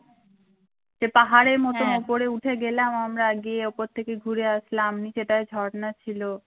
সে পাহাড়ের মত ওপরে উঠে গেলাম আমরা গিয়ে উপর তেকে ঘুরে আসলাম নিছে তার ঝর্ণা ছিল